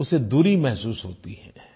उसे दूरी महसूस होती है